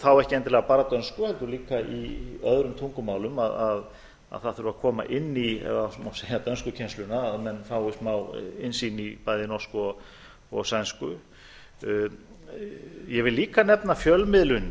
þá ekki endilega bara dönsku heldur líka í öðrum tungumálum að það þurfi að koma inn í dönskukennsluna að menn fái smá innsýn í bæði norsku og sænsku ég vi líka nefna fjölmiðlunina